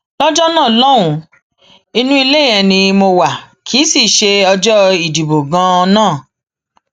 lọjọ náà lọhùnún inú ilé yẹn ni mo wá kí i sì í ṣe ọjọ ìdìbò ganan náà